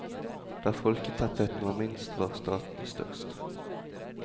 Der folketettheten var minst var statene størst.